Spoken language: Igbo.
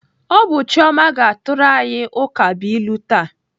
Ọ bụ Chioma ga-atụrụ anyị ukabụilu taa.